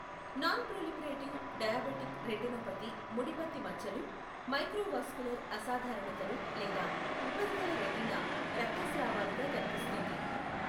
Non-proliferative diabetic retinopathy ముడిపత్తి మచ్చలు, microvascular అసాధారణతలు లేదా ఉపరితల రెటీనా రక్తస్రావాలుగా కనిపిస్తుంది.